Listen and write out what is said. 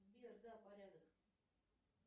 сбер да порядок